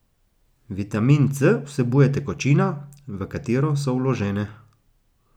Vitamin C vsebuje tekočina, v katero so vložene.